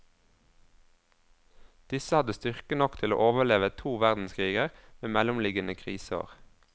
Disse hadde styrke nok til å overleve to verdenskriger med mellomliggende kriseår.